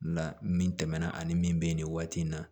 La min tɛmɛna ani min bɛ yen nin waati in na